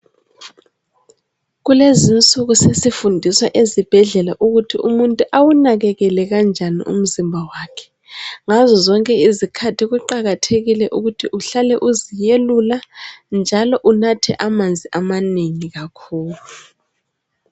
Kulezinsuku sesifundiswa ezibhedlela ukuthi umuntu awunakekele kanjani umzimba wakhe. Ngazozonke izikhathi kuqakathekile ukuthi uhlale uzelula njalo unathe amanzi amanengi kakhulu.